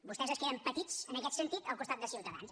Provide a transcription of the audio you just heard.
vostès es queden petits en aquest sentit al costat de ciutadans